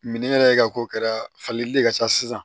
yɛrɛ ka ko kɛra falili de ka ca sisan